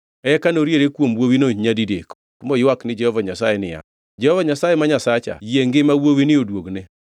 Eka noriere kuom wuowino nyadidek moywak ni Jehova Nyasaye niya, “Jehova Nyasaye ma Nyasacha yie ngima wuowini oduogne!”